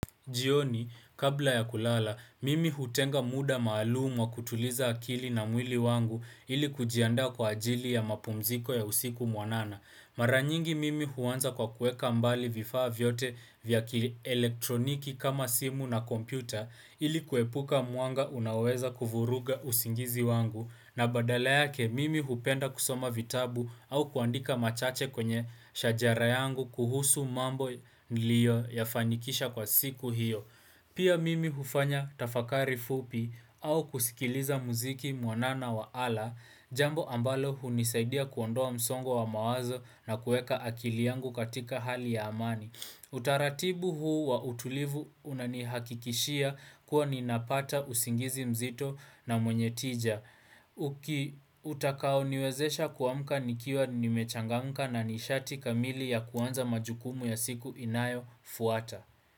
Jioni, kabla ya kulala, mimi hutenga muda maalumu wa kutuliza akili na mwili wangu ili kujianda kwa ajili ya mapumziko ya usiku mwanana. Mara nyingi mimi huanza kwa kueka mbali vifaa vyote vya kielektroniki kama simu na kompyuta ili kuepuka muanga unaoweza kuvuruga usingizi wangu. Na badala yake mimi hupenda kusoma vitabu au kuandika machache kwenye shajara yangu kuhusu mambo nilio yafanikisha kwa siku hiyo Pia mimi hufanya tafakari fupi au kusikiliza muziki mwanana wa ala Jambo ambalo hunisaidia kuondoa msongo wa mawazo na kueka akili yangu katika hali ya amani Utaratibu huu wa utulivu unanihakikishia kuwa ninapata usingizi mzito na mwenye tija utakao niwezesha kuamka nikiwa nimechangamka na nishati kamili ya kuanza majukumu ya siku inayofuata.